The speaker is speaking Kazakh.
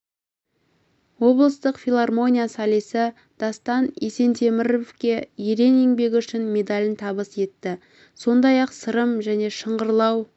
облыстық филармония солисі дастан есентеміровке ерен еңбегі үшін медалін табыс етті сондай-ақ сырым және шыңғырлау